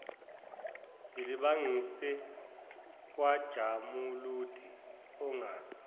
silibangise kwajamuludi ongazi